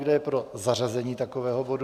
Kdo je pro zařazení takového bodu?